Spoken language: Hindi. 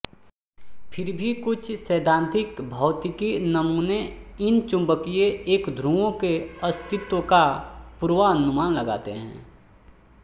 फिर भी कुछ सैद्धांतिक भौतिकी नमूने इन चुंबकीय एकध्रुवों के अस्तित्व का पूर्वानुमान लगाते हैं